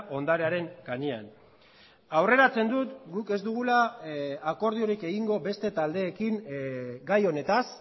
ondarearen gainean aurreratzen dut guk ez dugula akordiorik egingo beste taldeekin gai honetaz